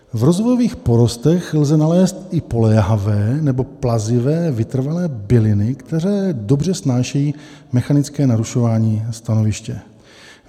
V rozvojových porostech lze nalézt i poléhavé nebo plazivé vytrvalé byliny, které dobře snášejí mechanické narušování stanoviště.